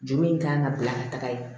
Juru in kan ka bila ka taga yen